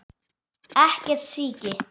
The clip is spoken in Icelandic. Ekkert síki.